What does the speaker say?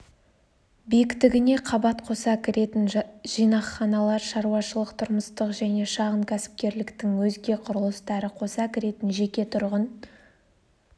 биіктігіне қабат қоса кіретін жинақханалар шаруашылық-тұрмыстық және шағын кәсіпкерліктің өзге құрылыстары қоса кіретін жеке тұрғын